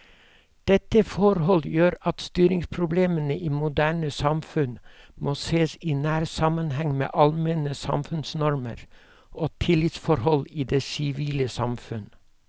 Dette forhold gjør at styringsproblemene i moderne samfunn må sees i nær sammenheng med allmenne samfunnsnormer og tillitsforhold i det sivile samfunn.